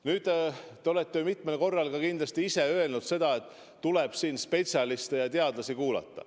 Nüüd, te olete mitmel korral ka ise öelnud, et tuleb spetsialiste ja teadlasi kuulata.